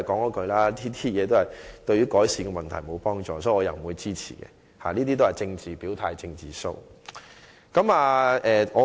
我的意見依然是：這對改善問題並無幫助，所以我不會支持，因這只是政治表態、"政治 show"。